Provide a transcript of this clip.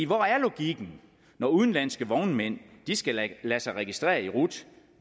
hvor er logikken når udenlandske vognmænd skal lade sig registrere i rut